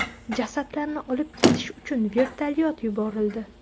Jasadlarni olib ketish uchun vertolyot yuborildi.